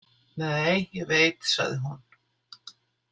Nei, ég veit, sagði hún.